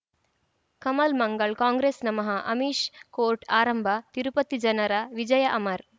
Kamal Mangal Congress ನಮಃ Amish court ಆರಂಭ ತಿರುಪತಿ ಜನರ ವಿಜಯ ಅಮರ್